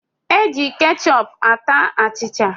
Eji kechọp ata achịcha.